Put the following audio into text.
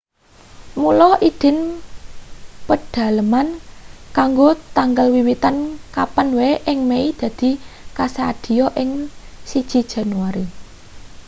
mula idin pedhaleman kanggo tanggal wiwitan kapan wae ing mei dadi kasadhiya ing 1 jan